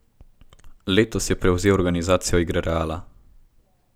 Letos je prevzel organizacijo igre Reala.